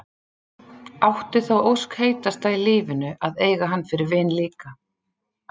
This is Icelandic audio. Átti þá ósk heitasta í lífinu að eiga hann fyrir vin líka.